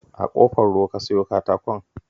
A Ƙofar Ruwa ka sayo katakon?